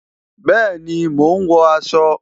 Bẹẹni, mo ń wọ aṣọ